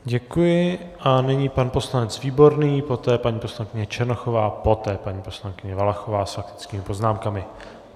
Děkuji a nyní pan poslanec Výborný, poté paní poslankyně Černochová, poté paní poslankyně Valachová s faktickými poznámkami.